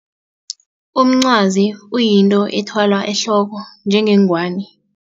Umncwazi uyinto ethwalwa ehloko njengengwani.